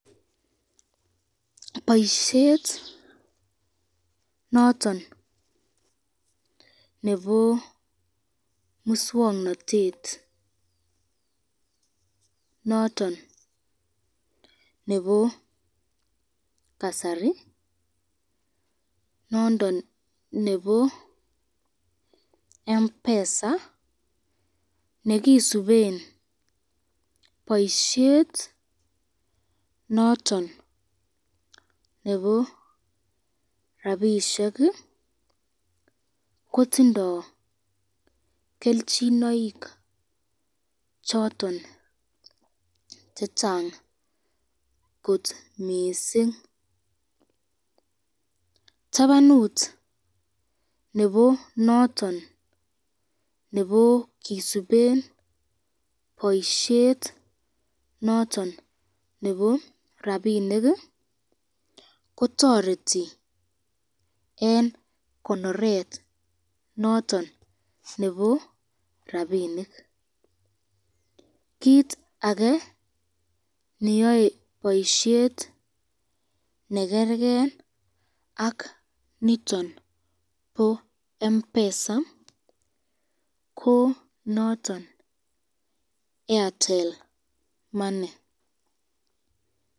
Boisyet noton nebo muswoknotet noton nebo kasari nondon nebo mpesa nekisuben boisyet noton nebo rapishek kotindo kelchinoik choton chechang kot mising, tabanut noton nebo kisuben boisyet noton nebo rapinik kotoreti eng konoret noton nebo rapinik, kit ake neyoe boisyet nekerken ak oraniton nebo mpesa ko noton artel money.